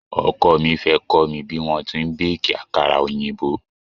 Oko mi fẹ́ kọ́ mi bí wọ́n ti n béèkì àkàrà òyìnbó.